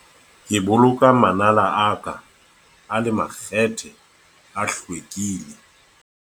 ke boloka manala a ka a le makgethe a hlwekile